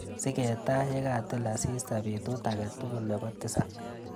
Sing'etaa yekatil asista betut akatukul nepo tisap.